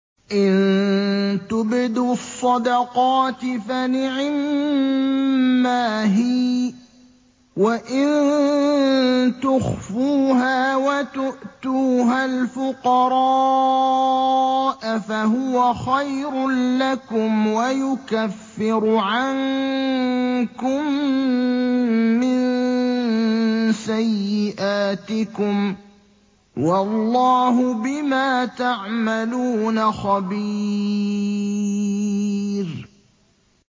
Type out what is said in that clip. إِن تُبْدُوا الصَّدَقَاتِ فَنِعِمَّا هِيَ ۖ وَإِن تُخْفُوهَا وَتُؤْتُوهَا الْفُقَرَاءَ فَهُوَ خَيْرٌ لَّكُمْ ۚ وَيُكَفِّرُ عَنكُم مِّن سَيِّئَاتِكُمْ ۗ وَاللَّهُ بِمَا تَعْمَلُونَ خَبِيرٌ